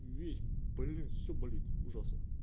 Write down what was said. весь блин все болит ужасно